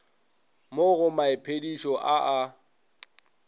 mo go maiphedišo a a